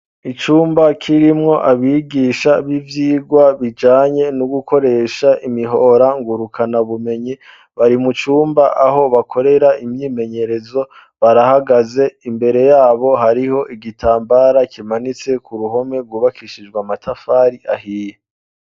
Icumba kirimwo abigisha b'ivyigwa bijanye no gukoresha imihora ngurukana bumenyi bari mu cumba aho bakorera imyimenyerezo barahagaze imbere yabo hariho igitambara kimanitse ku ruhome rwubakishijwe amatafari ahiye.